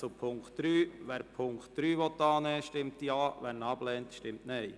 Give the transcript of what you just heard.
Wer den Punkt 3 annehmen will, stimmt Ja, wer diesen ablehnt, stimmt Nein.